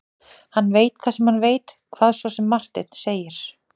Hann veit það sem hann veit, hvað svo sem Marteinn segir.